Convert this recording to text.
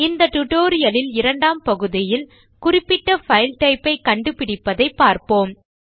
இந்த டியூட்டோரியல் லில் இரண்டாம் பகுதியில் குறிப்பிட்ட பைல் டைப் ஐ கண்டுபிடிப்பதை பார்ப்போம்